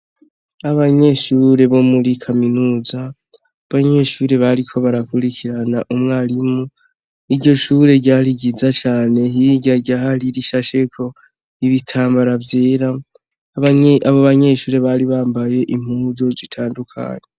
Abanyeshure bo muri kaminuza abanyeshure bariko barakurikirana umwarimu iryo ishure ryari ryiza cane hirya ryari rishasheko ibitambara vyera abo banyeshure bari bambaye impuzu zitandukanye.